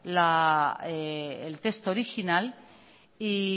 el texto original y